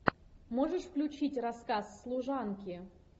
можешь включить рассказ служанки